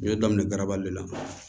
N ye daminɛ garabali la